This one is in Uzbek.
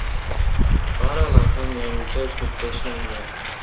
Faralar ham yangicha uslubda ishlangan.